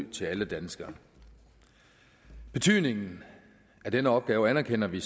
til alle danskere betydningen af denne opgave anerkender vi